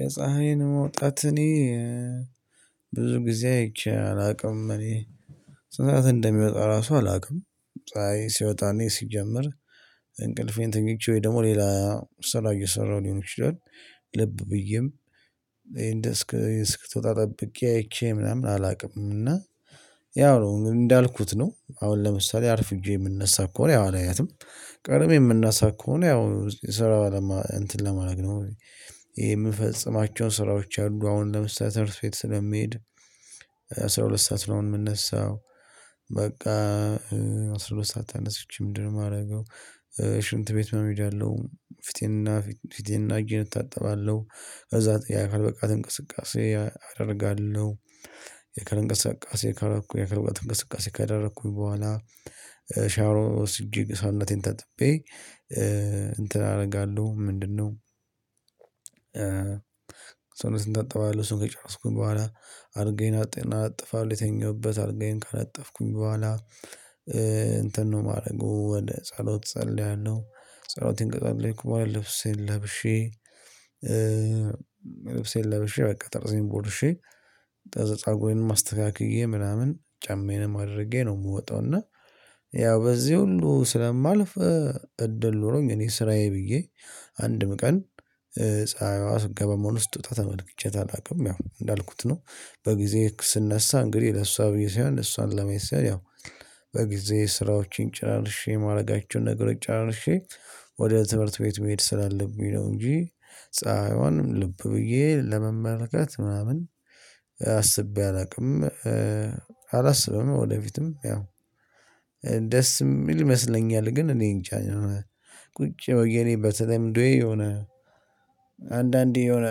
የፀሀይን መውጣት እኔ ብዙ ጊዜ አይቼ አላውቅም እኔ ስንት ሰዓት እንደሚወጣ ራሱ አላውቅም። ፀሀይ ሲወጣ እኔ ሲጀመር እንቅልፌን ተኝቼ ወይ ደግሞ ሌላ ስራ እየሰራሁ ሊሆን ይችላል። ልብ ብዬም እንደ እስክትወጣ ጠብቄ አይቼ ምናምን አላውቅም። እና ያው ነው እንዳልኩት ነው አሁን ለምሳሌ አርፍጄ የምነሳ ከሆነ ያው አላያትም ቀድሜ የምነሳ ከሆነ ያው ስራው እንትን ለማድረግ ነው። የምፈጽማቸውን ስራዎች አሉ አሁን ለምሳሌ ትምህርት ቤት ስለሚሄድ አስራ ሁለት ሰዓት ነው የምንነሳው። በቃ አስራ ሁለት ሰዓት ተነስቼ ምንድነው የማደርገው? ሽንት ቤት ምናምን እሄዳለው ፊቴንና ፊቴንና እጄን እታጠባለሁ። ከዛ የአካል ብቃት እንቅስቃሴ አደርጋለሁ። የአካል እንቅስቃሴ ካረኩ የአካል እንቅስቃሴ ካደረኩኝ በኋላ ሻውር ወስጄ ሰውነቴ ታጥቤ እንትን አደርጋለሁ። ምንድነው? ሰውነትን እታጠባለሁ ሰው ከጨረስኩኝ በኋላ አልጋዬ አነጥፋለው የተኛሁበት አልጋ ካነጠፍኩኝ በኋላ እንትን ነው የማደርገው ወደ ጸሎት እጸልያለሁ። ጸሎቴን ከጸለይኩ በኃላ ልብሴ ለብሼ። ልብሴን ለብሼ በቃ ጥርሴን ቦርሼ ፀጉሬን አስተካክዬ ምናምን ጫማየን አድርጌ ነው የምወጣው። እና ያው በዚህ ሁሉ ስለማልፍ እድል ኖሮኝ እኔ ስራዬ ብዬ አንድም ቀን ፀሀይዋ ስትገባ ሆነ ስትወጣ ተመልክቻት አላውቅም ያው እንዳልኩት ነው። በጊዜ ስነሳ እንግዲህ ለሷ ብዬ ሳይሆን እሷን ለኔ ሳይ ያው በጊዜ ስራዎችን ጨራርሼ ማደርጋቸውን ነገሮች ጨራርሼ ወደ ትምህርት ቤት መሄድ ስላለብኝ ነው። እንጂ ፀሀይዋንም ልብ ብዬ ለመመልከት ምናምን አስቤ አላውቅም። አላስብም ወደፊትም ያው ደስ የሚል ይመስለኛል። ግን እኔን ጃ ቁጭ ብየ በተለምዶዬ የሆነ አንዳንዴ የሆነ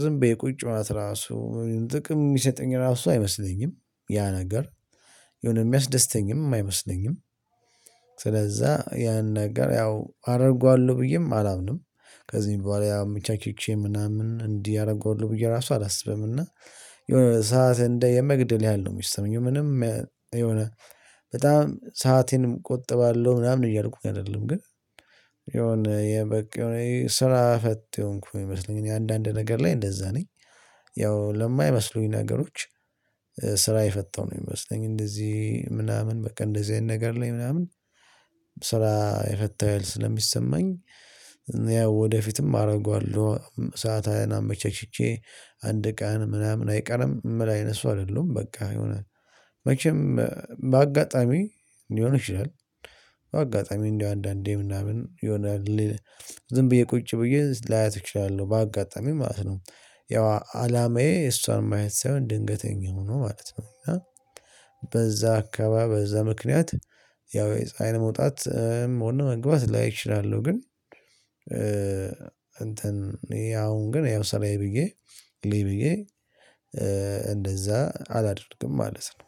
ዝም ብዬ ቁጭ ምናምን ራሱ ጥቅም የሚሰጠኝ ራሱ አይመስለኝም። ያ ነገር የሆነ የሚያስደስተኝም አይመስለኝም። ስለዛ ያን ነገር ያው አደርገዋለሁ ብዬም አላምንም። ከዚህ በኋላ ብቻቼ ምናምን እንዲህ አደርገዋለው ብዬ ራሱ አላስብም። እና የሆነ ሰዓት እንደ የመግደል ያህል ነው የሚሰማኝ ምንም የሆነ በጣም ሰአቴን እቆጥባለሁ ምናምን እያልኩኝ አይደለም ግን። የሆነ የበቃ የሆነ ስራ ፈት የሆንኩኝ ነው የሚመስልኝ እኔ አንዳንድ ነገር ላይ እንደዛ ነኝ። ያው ለማይመስሉኝ ነገሮች። ስራ የፈታው ነው የሚመስለኝ እንደዚህ ምናምን በቃ እንደዚህ አይነት ነገር ላይ ምናምን ስራ የፈታው ያህል ስለሚሰማኝ። ያው ወደፊትም አደርገዋለሁ ሰአቴን አመቻችቼ አንድ ቀን ምናምን አይቀርም ምል አይነት ሰው አይደለሁም በቃ የሆነ መቼም በአጋጣሚ ሊሆን ይችላል። አጋጣሚ እንደው አንዳንዴ ምናምን የሆናል ዝም ብዬ ቁጭ ብዬ ላያት እችላለው ባጋጣሚ ማለት ነው። ያው አላማዬ እሷን ማየት ሳይሆን ድንገተኛ ሆኖ ማለት ነው እና። በዛ አካባቢ በዛ ምክንያት ያው ፀሀይ መውጣት እና መግባት ላይ እችላለሁ ግን። እንትን ያው ግን ያው ሰራዬ ብዬ ልይ ብዬ እንደዛ አላድርግም ማለት ነው።